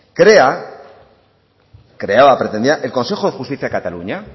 creaba pretendía el consejo de justicia de cataluña